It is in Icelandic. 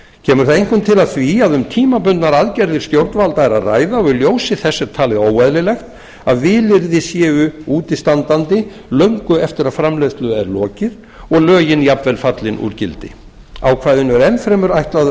kemur það einkum til af því að um tímabundnar aðgerðir stjórnvalda er að ræða og í ljósi þess er talið óeðlilegt að vilyrði séu útistandandi löngu eftir að framleiðslu er lokið og lögin jafnvel fallin úr gildi ákvæðinu er enn fremur ætlað að